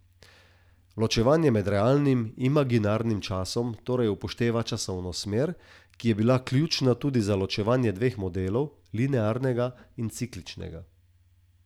Ločevanje med realnim in imaginarnim časom torej upošteva časovno smer, ki je bila ključna tudi za ločevanje dveh modelov, linearnega in cikličnega.